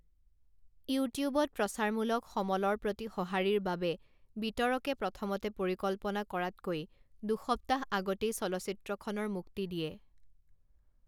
ইউটিউবত প্ৰচাৰমূলক সমলৰ প্ৰতি সঁহাৰিৰ বাবে বিতৰকে প্ৰথমতে পৰিকল্পনা কৰাতকৈ দুসপ্তাহ আগতেই চলচ্চিত্ৰখনৰ মুক্তি দিয়ে।